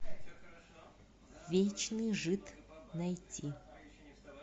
вечный жид найти